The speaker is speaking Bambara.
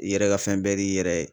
I yɛrɛ ka fɛn bɛɛ d'i y'i yɛrɛ ye.